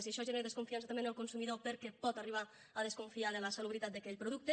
i això genera desconfiança també en el consumidor perquè pot arribar a desconfiar de la salubritat d’aquell producte